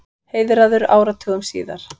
Heiðraður áratugum síðar